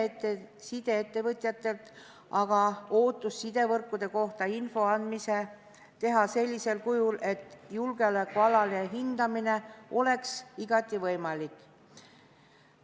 Sideettevõtjatelt on aga ootus sidevõrkude kohta info andmisel teha seda sellisel kujul, et julgeolekualane hindamine oleks igati võimalik.